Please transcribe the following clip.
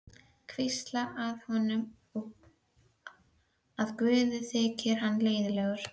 Hvísla að honum að guði þyki hann leiðinlegur.